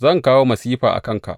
Zan kawo masifa a kanka.